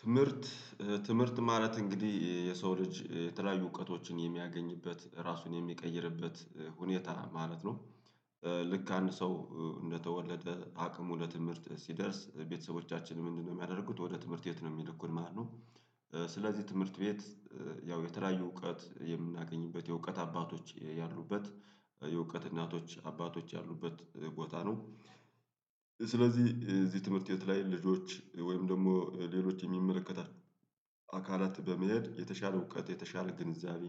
ትምህርት ትምህርት ማለት እንግዲህ የሰው ልጅ የተለያዩ እውቀቶችን የሚያገኝበት ራሱን የሚቀይርበት ሁኔታ ማለት ነው። ልክ አንድ ሰው እንደተወለደ አቅሙ ለትምህርት ሲደርስ ቤተሰቦቻችን ምንድነው? የሚያደርጉት ወደ ትምህርት ቤት ነው የሚል እኮ ማለት ነው። ስለዚህ ትምህርት ቤት። ያው የተለያዩ እውቀት የምናገኝበት የእውቀት አባቶች ያሉበት የእውቀት እናቶች አባቶች ያሉበት ቦታ ነው። ስለዚህ እዚህ ትምህርት ቤት ላይ ልጆች ወይም ደግሞ ሌሎች የሚመለከታቸው አካላት በመሄድ የተሻለ እውቀት የተሻለ ግንዛቤ።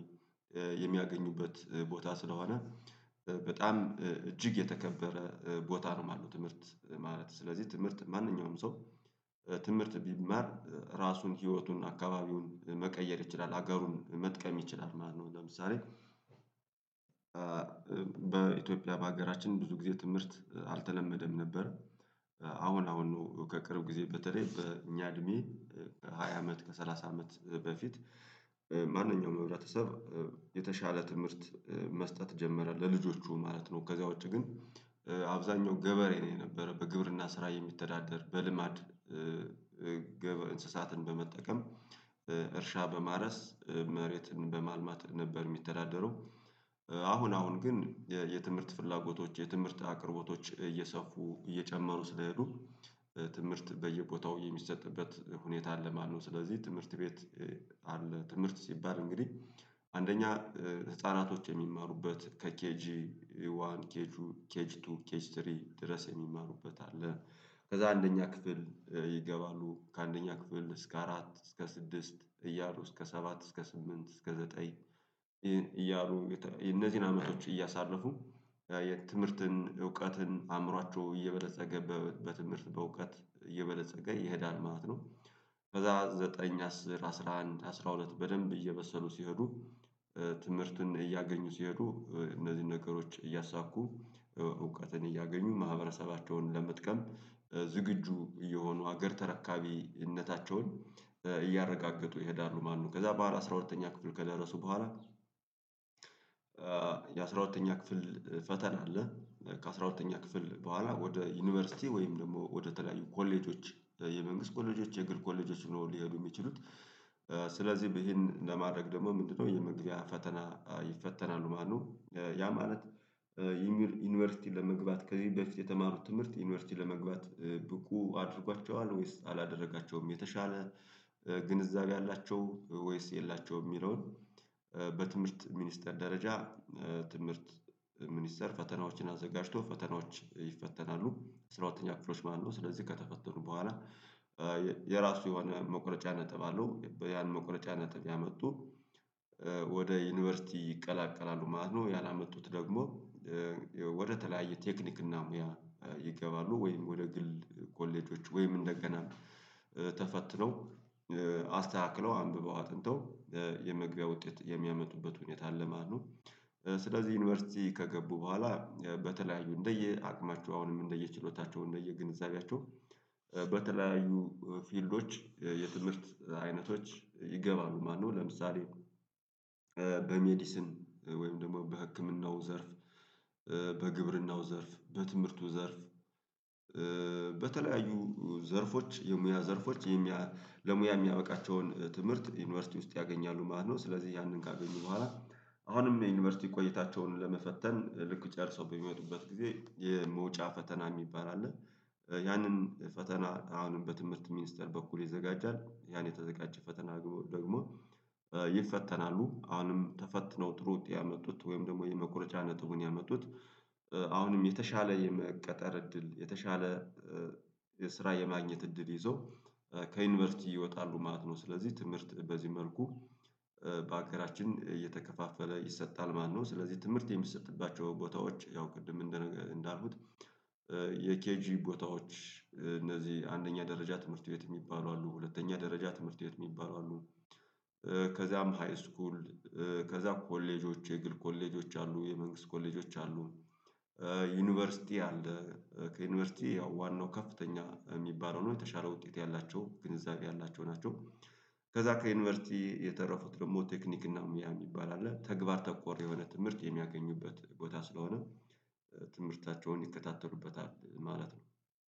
የሚያገኙበት ቦታ ስለሆነ በጣም እጅግ የተከበረ ቦታ ነው ማለት ነው። ትምህርት ማለት ስለዚህ ትምህርት ማንኛውም ሰው። ትምህርት ቢማር ራሱን ህይወቱን አካባቢውን መቀየር ይችላል ሀገሩን መጥቀም ይችላል ማለት ነው። ለምሳሌ በኢትዮጵያ በሀገራችን ብዙ ጊዜ ትምህርት አልተለመደም ነበር። አሁን አሁን ነው ከቅርብ ጊዜ በተለይ በእኛ እድሜ ከሃያ አመት ከሰላሳ አመት በፊት። ማንኛውም ህብረተሰብ። የተሻለ ትምህርት መስጠት ጀመረ ለልጆቹ ማለት ነው ከዛ ውጪ ግን። አብዛኛው ገበሬ ነው የነበረ በግብርና ስራ የሚተዳደር በልማድ። እንስሳትን በመጠቀም እርሻ በማረስ መሬትን በማልማት ነበር የሚተዳደረው። አሁን አሁን ግን የትምህርት ፍላጎቶች የትምህርት አቅርቦቶች እየሰፉ እየጨመሩ ስለሄዱ ትምህርት በየቦታው የሚሰጥበት ሁኔታ አለ ማለት ነው። ስለዚህ ትምህርት ቤት። አለ ትምህርት ሲባል እንግዲህ አንደኛ ህፃናቶች የሚመሩበት ከኬጂ ዋን ኬጂ ኬጂ ቱ ኬጂ ስሪ ድረስ የሚመሩበት አለ። ከዛ አንደኛ ክፍል ይገባሉ ከአንደኛ ክፍል እስከ አራት እስከ ስድስት እያሉ እስከ ሰባት እስከ ስምንት እስከ ዘጠኝ። እያሉ እነዚህን አመቶች እያሳለፉ የትምህርትን እውቀትን አእምሯቸው እየበለፀገ በትምህርት በእውቀት እየበለፀገ ይሄዳል ማለት ነው። ከዛ ዘጠኝ አስር አስራ አንድ አስራ ሁለት በደንብ እየበሰሉ ሲሄዱ። ትምህርትን እያገኙ ሲሄዱ እነዚህን ነገሮች እያሳኩ እውቀትን እያገኙ ማህበረሰባቸውን ለመጥቀም ዝግጁ የሆኑ ሀገር ተረካቢነታቸውን እያረጋገጡ ይሄዳሉ ማነው ከዛ በኋላ አስራ ሁለተኛ ክፍል ከደረሱ በኋላ። የአስራ ሁለተኛ ክፍል ፈተና አለ ከአስራ ከአሥራ ሁለተኛ ክፍል በኋላ ወደ ዩኒቨርሲቲ ወይም ደግሞ ወደተለያዩ ኮሌጆች የመንግስት ኮሌጆች የግል ኮሌጆች ነው ሊሄዱ የሚችሉት። ስለዚህ ይህን ለማድረግ ደግሞ ምንድነው? የመግቢያ ፈተና ይፈተናሉ ማለት ነው። ያ ማለት ዩኒቨርሲቲ ለመግባት ከዚህ በፊት የተማሩት ትምህርት ዩኒቨርሲቲ ለመግባት ብቁ አድርጓቸዋል ወይስ አላደረጋቸውም የተሻለ። ግንዛቤ አላቸው ወይስ የላቸውም የሚለውን። በትምህርት ሚኒስተር ደረጃ ትምህርት ሚኒስተር ፈተናዎችን አዘጋጅቶ ፈተናዎች ይፈተናሉ ስራው አራተኛ ክፍሎች ማነው ስለዚህ ከተፈተኑ በኋላ። የራሱ የሆነ መቁረጫ ነጥብ አለው ያን መቁረጫ ነጥብ ያመጡ። ወደ ዩኒቨርሲቲ ይቀላቀላሉ ማለት ነው። ያላመጡት ደግሞ። ወደተለያየ ቴክኒክ እና ሙያ ይገባሉ ወይም ወደ ግል ኮሌጆች ወይም እንደገና ተፈትለው አስተካክለው አንብበው አጥንተው። የመግቢያ ውጤት የሚያመጡበት ሁኔታ ለማነው? ስለዚህ ዩኒቨርሲቲ ከገቡ በኋላ በተለያዩ እንደየ አቅማቸው አሁንም እንደየ ችሎታቸው እንደየ ግንዛቤያቸው። በተለያዩ ፊልዶች የትምህርት አይነቶች ይገባሉ ማለት ነው። ለምሳሌ። በሜዲስን ወይም ደግሞ በህክምናው ዘርፍ። በግብርናው ዘርፍ በትምህርቱ ዘርፍ። በተለያዩ ዘርፎች የሙያ ዘርፎች የሙያ ለሙያ የሚያበቃቸውን ትምህርት ዩኒቨርሲቲ ውስጥ ያገኛሉ ማለት ነው። ስለዚህ ያንን ካገኘ በኋላ አሁንም የዩኒቨርሲቲ ቆይታቸውን ለመፈተን ልክ ጨርሶ በሚወዱበት ጊዜ የመውጫ ፈተና የሚባል አለ። ያንን ፈተና አሁንም በትምህርት ሚኒስተር በኩል ይዘጋጃል ያን የተዘጋጀ ፈተና ደግሞ። ይፈተናሉ አሁንም ተፈትነው ጥሩ ውጤ ያመጡት ወይም ደግሞ የመቆርጫ ነጥቡን ያመጡት። አሁንም የተሻለ የመቀጠር እድል የተሻለ የስራ የማግኘት እድል ይዞ ከዩኒቨርሲቲ ይወጣሉ ማለት ነው። ስለዚህ ትምህርት በዚህ መልኩ በሀገራችን እየተከፋፈለ ይሰጣል ማነው? ስለዚህ ትምህርት የሚሰጥባቸው ቦታዎች ያው ቅድም እንዳሉት እንዳልኩት። የኬጂ ቦታዎች እነዚህ አንደኛ ደረጃ ትምህርት ቤት የሚባሉ አሉ ሁለተኛ ደረጃ ትምህርት ቤት የሚባሉ አሉ። ከዛም ሃይስኩል። ከዛ ኮሌጆች የግል ኮሌጆች አሉ የመንግስት ኮሌጆች አሉ። ዩኒቨርሲቲ አለ ዩኒቨርሲቲ ያው ዋናው ከፍተኛ የሚባለው ነው የተሻለ ውጤት ያላቸው ግንዛቤ ያላቸው ናቸው። ከዛ ከዩኒቨርሲቲ የተረፉት ደግሞ ቴክኒክ እና ሙያ የሚባል አለ ተግባር ተኮር የሆነ ትምህርት የሚያገኙበት ቦታ ስለሆነ። ትምህርታቸውን ይከታተሉበታል ማለት ነው